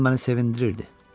bu hal məni sevindirirdi.